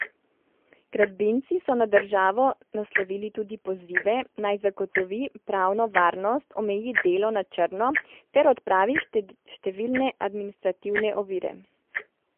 Gradbinci so na državo naslovili tudi pozive, naj zagotovi pravno varnost, omeji delo na črno ter odpravi številne administrativne ovire.